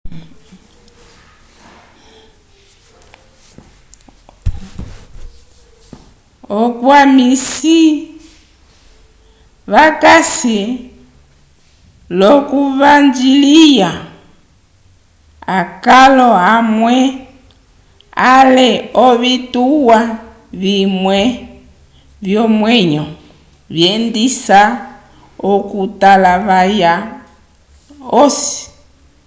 akwamisi vakasi l'okuvanjiliya akalo amwe ale ovituwa vimwe vyomwenyo vyendisa okutalavaya osi